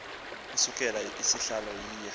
usekela sihlalo iya